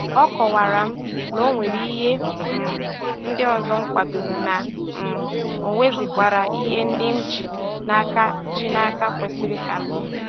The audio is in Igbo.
A kọwara m ha na ọ nwere ihe um ndị ọzọ m kwadoro, na um onwezikwara ihe ndị m ji n'aka ji n'aka kwesịrị ka m mee